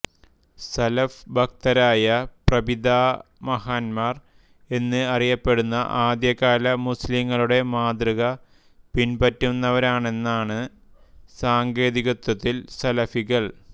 സലഫ്ഭക്തരായ പ്രപിതാമഹന്മാർ എന്ന് അറിയപ്പെടുന്ന ആദ്യകാല മുസ്ലിംകളുടെ മാതൃക പിൻപറ്റുന്നവരാണെന്നാണ് സാങ്കേതികതത്ത്വതിൽ സലഫികൾ